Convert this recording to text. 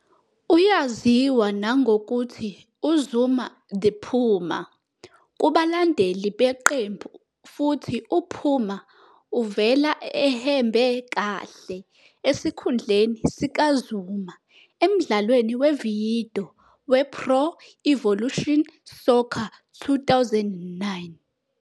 Uyaziwa nangokuthi "uZuma the Puma" kubalandeli beqembu futhi "uPuma" uvela ehembe lakhe esikhundleni sika "Zuma" emdlalweni wevidiyo "wePro Evolution Soccer 2009."